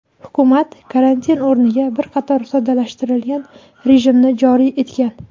hukumat karantin o‘rniga bir qator soddalashtirilgan rejimni joriy etgan.